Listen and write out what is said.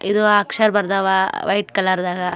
ಇದು ಅಕ್ಷರ ಬರ್ದವ ವೈಟ್ ಕಲರ್ದಾಗ.